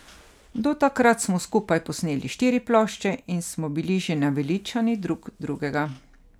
Do takrat smo skupaj posneli štiri plošče in smo bili že naveličani drug drugega.